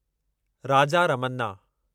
Raja Ramanna